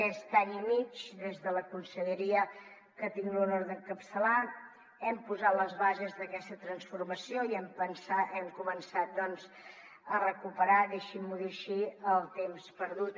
aquest any i mig des de la conselleria que tinc l’honor d’encapçalar hem posat les bases d’aquesta transformació i hem començat doncs a recuperar deixin m’ho dir així el temps perdut